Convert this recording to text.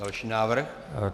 Další návrh.